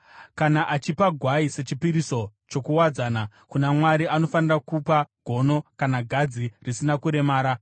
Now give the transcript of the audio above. “ ‘Kana achipa gwai sechipiriso chokuwadzana kuna Mwari anofanira kupa gono kana gadzi risina kuremara.